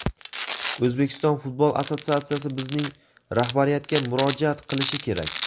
O‘zbekiston futbol assotsiatsiyasi bizning rahbariyatga murojaat qilishi kerak.